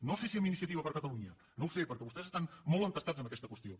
no sé si amb iniciativa per catalunya no ho sé perquè vostès estan molt entestats en aquesta qüestió